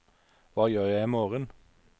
hva gjør jeg imorgen